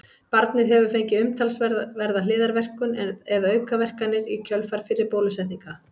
Barnið hefur fengið umtalsverða hliðarverkun eða aukaverkanir í kjölfar fyrri bólusetninga.